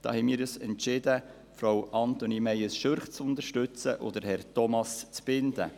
Wir haben uns entschieden, Frau Antonie Meyes Schürch und Herrn Thomas Zbinden zu unterstützen.